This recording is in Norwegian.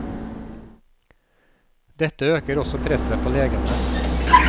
Dette øker også presset på legene.